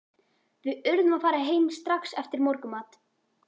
Við urðum að fara heim strax eftir morgunmat.